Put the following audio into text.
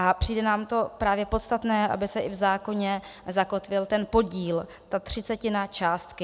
A přijde nám to právě podstatné, aby se i v zákoně zakotvil ten podíl, ta třicetina částky.